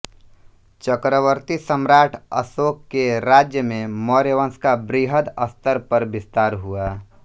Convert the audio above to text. चक्रवर्ती सम्राट अशोक के राज्य में मौर्यवंश का वृहद स्तर पर विस्तार हुआ